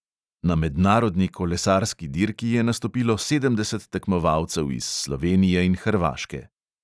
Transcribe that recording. Na mednarodni kolesarski dirki je nastopilo sedemdeset tekmovalcev iz slovenije in hrvaške.